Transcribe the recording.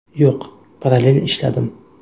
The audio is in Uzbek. Yo‘q, parallel ishladim.